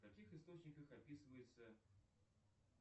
в каких источниках описывается